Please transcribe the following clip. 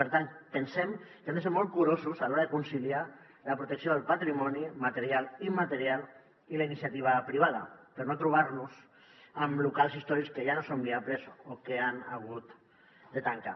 per tant pensem que hem de ser molt curosos a l’hora de conciliar la protecció del patrimoni material i immaterial i la iniciativa privada per no trobar nos amb locals històrics que ja no són viables o que han hagut de tancar